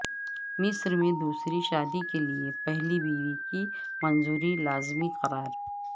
مصر میں دوسری شادی کے لیے پہلی بیوی کی منظوری لازمی قرار